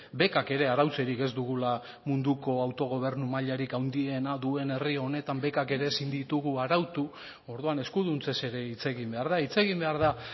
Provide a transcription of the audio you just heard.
bekak ere arautzerik ez dugula munduko autogobernu mailarik handiena duen herri honetan bekak ere ezin ditugu arautu orduan eskuduntzez ere hitz egin behar da hitz egin behar da